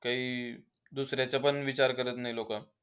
काही, दुसऱ्याचा पण विचार करत नाही लोकं.